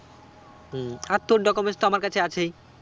হম আর তোর documents তো আমার কাছে আছেই